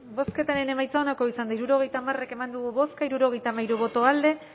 bozketaren emaitza onako izan da hirurogeita hamar eman dugu bozka hirurogeita hamairu boto alde bat